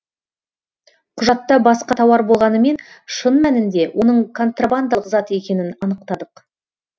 құжатта басқа тауар болғанымен шын мәнінде оның контрабандалық зат екенін анықтадық